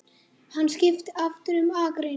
Hann skipti aftur um akrein.